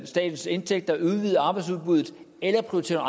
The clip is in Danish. statens indtægter udvide arbejdsudbuddet eller prioritere